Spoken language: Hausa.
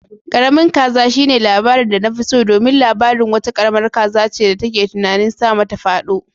Karamin kaza shine labarin da nafi so domin labarin wata karamar kaza ce da take tunanin sama ta fado.